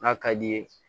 N'a ka d'i ye